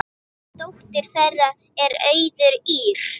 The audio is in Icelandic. Dóttir þeirra er Auður Ýrr.